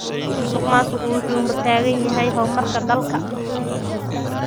Musuqmaasuqu wuxuu hortaagan yahay horumarka dalka.